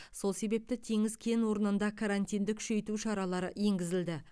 сол себепті теңіз кен орнында карантинді күшейту шаралары енгізілді